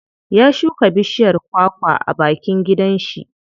Ya shuka bishiyar kwa kwa a bakin gidan shi.